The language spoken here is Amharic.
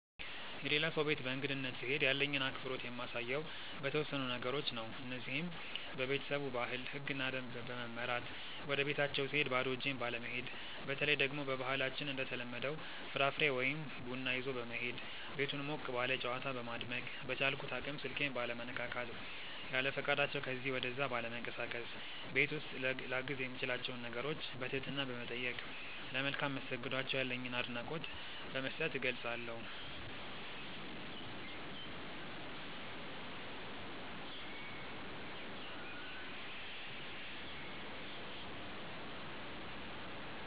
የሌላ ሰው ቤት በእንግድነት ስሄድ ያለኝን አክብሮት የማሳየው በተወሰኑ ነገሮች ነው። እነዚህም:- በቤተሰቡ ባህል፣ ህግና ደንብ በመመራት፣ ወደቤታቸው ስሄድ ባዶ እጄን ባለመሄድ፣ በተለይ ደግሞ በባህላችን እንደተለመደው ፍራፍሬ ወይ ቡና ይዞ በመሄድ፣ ቤቱን ሞቅ ባለ ጨዋታ በማድመቅ፣ በቻልኩት አቅም ስልኬን ባለመነካካት፣ ያለፈቃዳቸው ከዚ ወደዛ ባለመንቀሳቀስ፣ ቤት ውስጥ ላግዝ የምችላቸውን ነገሮች በትህትና በመጠየቅ፣ ለመልካም መስተንግዷቸው ያለኝን አድናቆት በመስጠት እገልፀዋለሁ።